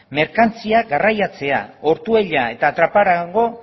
merkantziak garraiatzea ortuella eta trapagarango